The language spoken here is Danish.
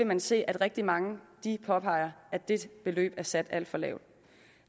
man se at rigtig mange påpeger at det beløb er sat alt for lavt